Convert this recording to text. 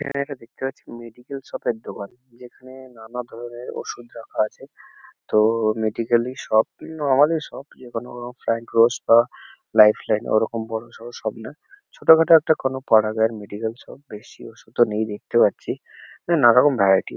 এখানে একটা দেখতে পাচ্ছি মেডিক্যাল শপ -এর দোকান যেখানে নানা ধরনের ওষুধ রাখা আছে। তো মেডিক্যাল -ই শপ না হলে শপ যে কোনো ফ্রাঙ্ক রস বা লাইফ লাইন ওরকম বড়সড় শপ নয় ছোটোখাটো একটা কোনো পাড়া গাঁয়ের মেডিক্যাল শপ । বেশি ওষুধও নেই দেখতে পাচ্ছি নানা রকম ভ্যারাইটি --